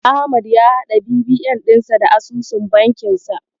Ahmad ya haɗa BVN dinsa da asusun bankinsa.